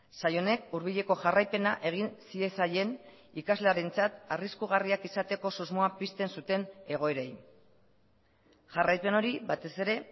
sail honek hurbileko jarraipena egin ziezaien ikaslearentzat arriskugarriak izateko susmoa pizten zuten egoerei jarraipen hori batez ere